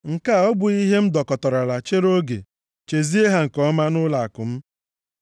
“Nke a ọ bụghị ihe m dokọtarala chere oge, chezie ha nke ọma nʼụlọakụ m?